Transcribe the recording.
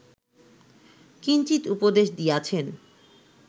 কিঞ্চিৎ উপদেশ দিয়াছেন